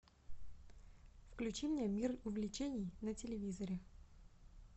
включи мне мир увлечений на телевизоре